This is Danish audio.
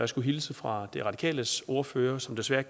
skulle hilse fra de radikales ordfører som desværre